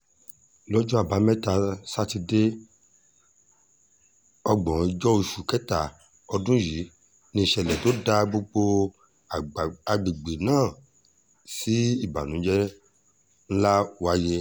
lọ́jọ́ àbámẹ́ta sátidé ògbóǹjọ oṣù kẹta ọdún yìí níṣẹ̀lẹ̀ tó dá gbogbo àgbègbè náà sí ìbànújẹ́ ńlá wáyé